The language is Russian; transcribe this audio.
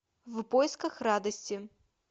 в поисках радости